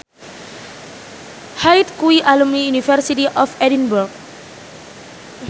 Hyde kuwi alumni University of Edinburgh